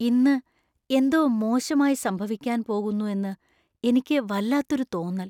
ഇന്ന് എന്തോ മോശമായി സംഭവിക്കാൻ പോകുന്നു എന്ന് എനിക്ക് വല്ലാത്തൊരു തോന്നൽ.